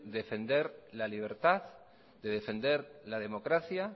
defender la libertad de defender la democracia